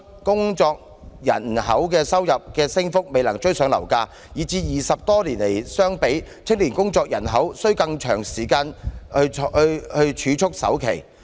工作人口收入的升幅未能追上樓價，以致與20多年前相比，青年工作人口須更長時間儲蓄首期。